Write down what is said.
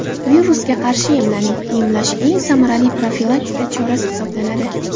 Virusga qarshi emlaning Emlash eng samarali profilaktika chorasi hisoblanadi.